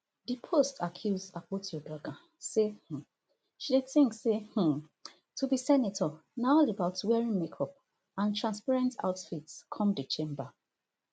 di post accuse akpotiuduaghan say um she dey think say um to be senator na all about wearing makeup and transparent outfits come di chamber